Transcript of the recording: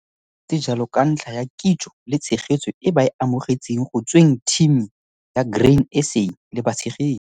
Go ne go ntse jalo ka ntlha ya kitso le tshegetso e ba e amogetseng go tsweng thimi ya Grain SA le batshegetsi.